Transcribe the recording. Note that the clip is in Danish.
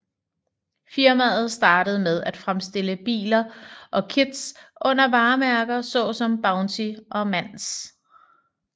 Firmaet startede med at fremstille biler og kits under varemærker såsom Bounty og Manx